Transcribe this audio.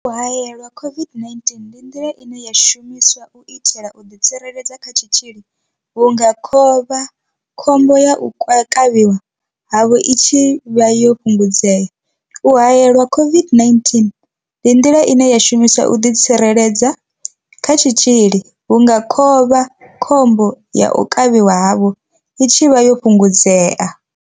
U haelelwa COVID-19 ndi nḓila i shumaho u itela u ḓi tsireledza kha tshitzhili vhunga khovhakhombo ya u kavhiwa havho i tshi vha yo fhungudzea. U haelelwa COVID-19 ndi nḓila i shumaho u itela u ḓi tsireledza kha tshitzhili vhunga khovhakhombo ya u kavhiwa havho i tshi vha yo fhungudzea.